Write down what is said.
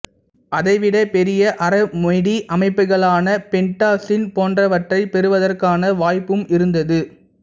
அதைவிட பெரிய அரோமேடிக் அமைப்புகளான பென்டாசீன் போன்றவற்றைப் பெறுவதற்கான வாய்ப்பும் இருந்தது